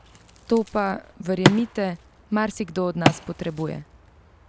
To pa, verjemite, marsikdo od nas potrebuje!